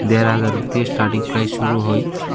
দেড় হাজার দিয়ে স্টারটিং প্রাইজ শুরু হয়।